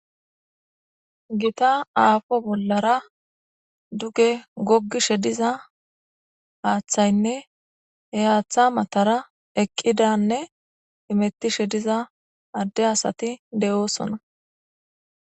gita aafo bollara duge goggishe diza haaththaynne heyaaththa matara eqqidanne hemettishe diza adde asati de'oosona